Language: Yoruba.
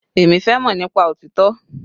Èmi fẹ́ mọ̀ nípa òtítọ́.